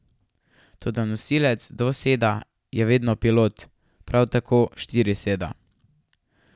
Toda nosilec dvoseda je vedno pilot, prav tako štiriseda.